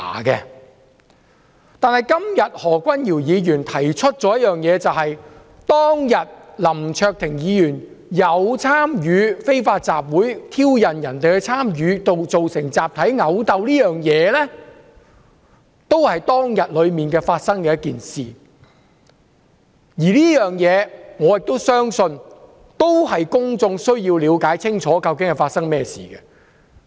但是，今天何君堯議員提出一件事，就是當天林卓廷議員有參與非法集會，挑釁別人參與，造成集體毆鬥，這件事都是當天發生的，而我亦相信公眾需要了解清楚這件事。